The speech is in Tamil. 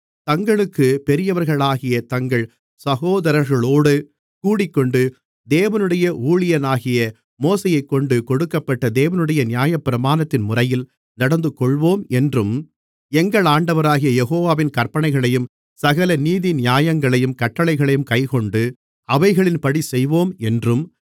தங்களுக்குப் பெரியவர்களாகிய தங்கள் சகோதரர்களோடு கூடிக்கொண்டு தேவனுடைய ஊழியனாகிய மோசேயைக்கொண்டு கொடுக்கப்பட்ட தேவனுடைய நியாயப்பிரமாணத்தின் முறையில் நடந்துகொள்வோம் என்றும் எங்கள் ஆண்டவராகிய யெகோவாவின் கற்பனைகளையும் சகல நீதிநியாயங்களையும் கட்டளைகளையும் கைக்கொண்டு அவைகளின்படி செய்வோம் என்றும்